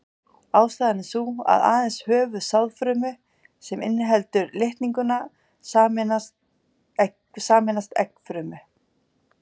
Ástæðan er sú að aðeins höfuð sáðfrumu sem inniheldur litningana sameinast eggfrumu.